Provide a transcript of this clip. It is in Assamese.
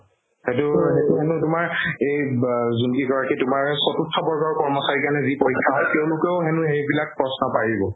সেইটো সেইটো তোমাৰ এই ব যোন কি কই কি তোমাৰ চতুৰ্থ বৰ্গৰ কৰ্মচাৰীৰ কাৰণে যি পৰীক্ষা হয় তেওঁলোকেও হেনু সেইবিলাক প্ৰশ্ন পাৰিব